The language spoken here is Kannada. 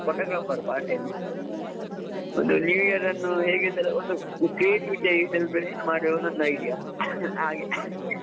photographer, part time ಒಂದ್ new year ಅನ್ನು ಹೇಗೆ celebrate ಒಂದ್ creativity ಆಗಿ celebrate ಮಾಡುವ ಅಂತ ನನ್ನ idea, ಹಾಗೆ.